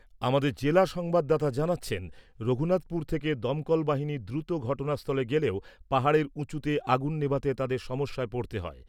আমাদের জেলা সংবাদদাতা জানাচ্ছেন , রঘুনাথপুর থেকে দমকল বাহিনী দ্রুত ঘটনাস্থলে গেলেও পাহাড়ের উচুঁতে আগুন নেভাতে তাঁদের সমস্যায় পড়তে হয়।